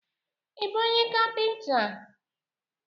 Ị bụ kapịnta?